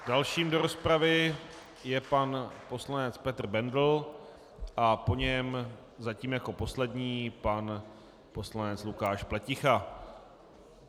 Dalším do rozpravy je pan poslanec Petr Bendl a po něm, zatím jako poslední, pan poslanec Lukáš Pleticha.